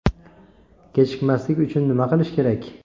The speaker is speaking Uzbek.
Kechikmaslik uchun nima qilish kerak?.